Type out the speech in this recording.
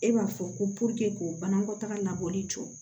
E b'a fɔ ko k'o banakɔtaga labɔli jɔ